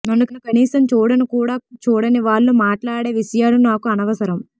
నన్ను కనీసం చూడను కూడా చూడని వాళ్లు మాట్లాడే విషయాలు నాకు అనవసరం